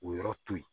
O yɔrɔ to yen